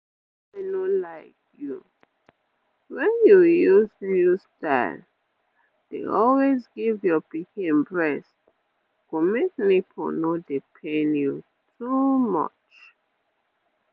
make i no lie you wen you use new styles dey always give your pikin breast go make nipple no dey pain you too much